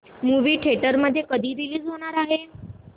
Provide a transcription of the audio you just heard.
movie theatre मध्ये कधी release होणार आहे